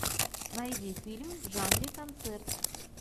найди фильм в жанре концерт